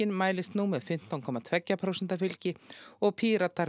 mælist nú með fimmtán komma tvö prósent fylgi og Píratar